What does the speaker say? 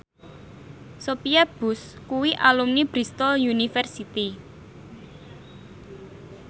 Sophia Bush kuwi alumni Bristol university